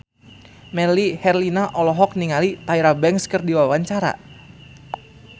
Melly Herlina olohok ningali Tyra Banks keur diwawancara